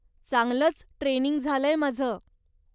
चांगलंच ट्रेनिंग झालंय माझं.